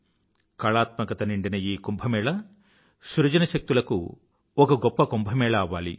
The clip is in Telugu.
కళాత్మికత నిండిన ఈ కుంభ్ సృజనశక్తులకు ఒక గొప్ప కుంభ్ అవ్వాలి